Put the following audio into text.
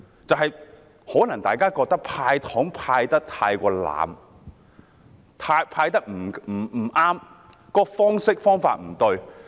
或許大家認為"派糖"派得太濫，而"派糖"的方式及方法也不對。